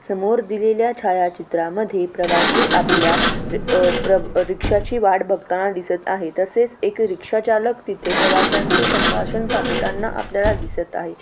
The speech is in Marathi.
समोर दिलेल्या छायाचित्रामध्ये प्रवाशी आपल्या अह प्र अह रिक्षाची वाट बघताना दिसत आहेत तसेच एक रिक्षा चालक तिथे प्रवाशांशी संभाषण साधताना आपल्याला दिसत आहे.